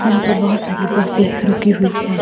यहां पर बहोत सारी बसे रुकी हुई हैं।